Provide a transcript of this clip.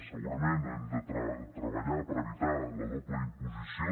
segurament hem de treballar per evitar la doble imposició